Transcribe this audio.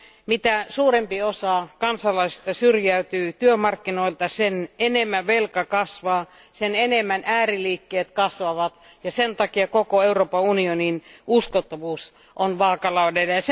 Mitä suurempi osa kansalaisista syrjäytyy työmarkkinoilta, sen enemmän velka kasvaa, sen enemmän ääriliikkeet kasvavat ja sen takia koko Euroopan unionin uskottavuus on vaakalaudalla.